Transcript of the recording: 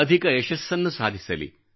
ಅಧಿಕ ಯಶಸ್ಸನ್ನು ಸಾಧಿಸಲಿ